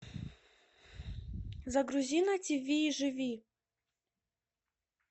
загрузи на тиви живи